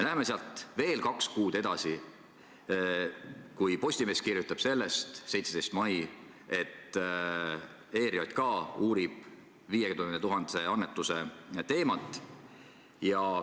Läheme sealt veel kaks kuud edasi, Postimees kirjutab sellest 17. mail, et ERJK uurib 50 000-se annetuse teemat.